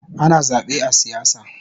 Ana zabe a siyasa